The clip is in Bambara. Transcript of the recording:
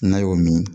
N'a y'o min